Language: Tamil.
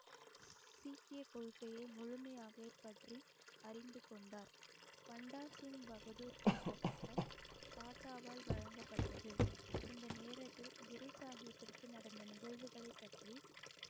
சீக்கிய கொள்கையை முழுமையாக பற்றி அறிந்து கொண்டார் பண்டாசிங் பகதூர் என்ற பட்டம் பாட்டாவால் வழங்கப்பட்டது இந்த நேரத்தில் குரு சாஹிப்பிற்கு நடந்த நிகழ்வுகளை பற்றி